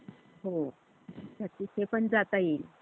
हुं तर तिथे पण जाता येईल.